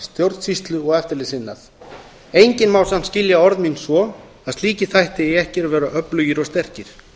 stjórnsýslu og eftirlitsiðnað enginn má samt skilja orð mín svo að slíkir þættir eigi ekki að vera öflugir og sterkir